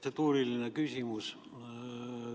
Protseduuriline küsimus.